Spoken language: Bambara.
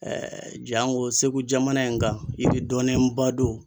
janko Segu jamana in kan, i bi dɔnnenba don.